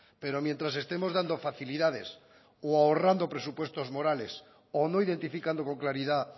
pero mientras estemos dando facilidades o ahorrando presupuestos morales o no identificando con claridad